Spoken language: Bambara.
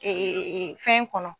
fɛn kɔnɔ.